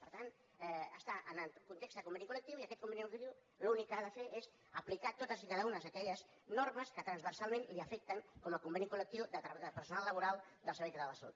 per tant està en el context de conveni col·conveni col·lectiu l’únic que ha de fer és aplicar totes i cada una d’aquelles normes que transversalment l’afecten com a conveni col·lectiu del personal laboral del servei català de la salut